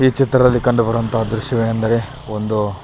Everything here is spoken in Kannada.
ಈ ಚಿತ್ರದಲ್ಲಿ ಕಂಡು ಬರುವತಹ ದ್ರಶ್ಯ ವೇನೆಂದರೆ ಒಂದು --